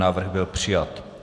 Návrh byl přijat.